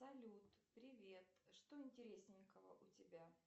салют привет что интересненького у тебя